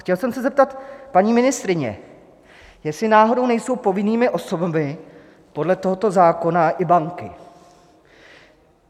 Chtěl jsem se zeptat paní ministryně, jestli náhodou nejsou povinnými osobami podle tohoto zákona i banky.